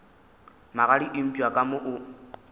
magadi eupša ka mo o